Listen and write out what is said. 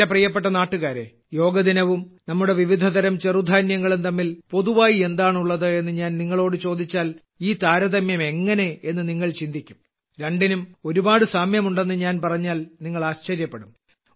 എന്റെ പ്രിയപ്പെട്ട നാട്ടുകാരേ യോഗ ദിനവും നമ്മുടെ വിവിധതരം ചെറുധാന്യങ്ങളും തമ്മിൽ പൊതുവായി എന്താണുള്ളത് എന്ന് ഞാൻ നിങ്ങളോട് ചോദിച്ചാൽ ഈ താരതമ്യം എങ്ങനെ എന്ന് നിങ്ങൾ ചിന്തിക്കും രണ്ടിനും ഒരുപാട് സാമ്യമുണ്ടെന്ന് ഞാൻ പറഞ്ഞാൽ നിങ്ങൾ ആശ്ചര്യപ്പെടും